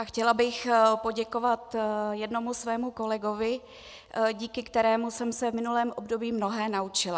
A chtěla bych poděkovat jednomu svému kolegovi, díky kterému jsem se v minulém období mnohé naučila.